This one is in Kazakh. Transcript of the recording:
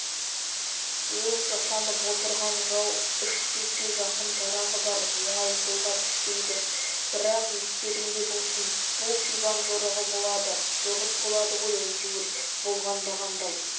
ол жасанып отырған жау үш жүзге жақын жарағы бар оңай қолға түспейді бірақ естеріңде болсын бұл сибан жорығы болады жорық болады ғой әйтеуір болғанда қандай